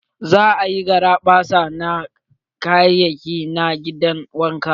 Za a yi garaɓasa da kayayaki na gidan wanka.